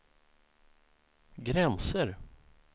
gränser